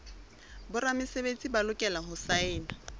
boramesebetsi ba lokela ho saena